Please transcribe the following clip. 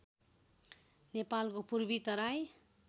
नेपालको पूर्वी तराई